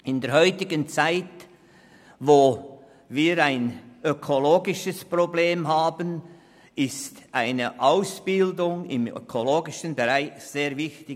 In der heutigen Zeit, wo wir ökologische Probleme lösen müssen, ist eine Ausbildung im ökologischen Bereich sehr wichtig.